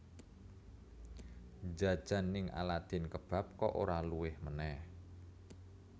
Njajan ning Aladin Kebab kok ora luwe meneh